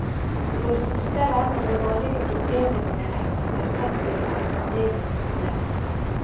Det går fortere, men de vanlige problemene med ettertetting er fremdeles store.